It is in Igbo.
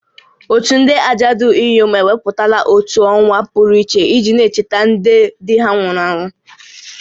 Òtù ndị ajadu inyom ewepụtala otu ọnwa pụrụ iche iji na-echeta ndị di ha nwụrụ anwụ